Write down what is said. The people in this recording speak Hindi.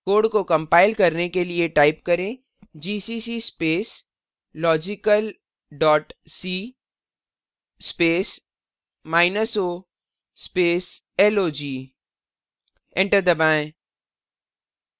code को compile करने के लिए type करें gcc space logical dot c space minus o space log enter दबाएँ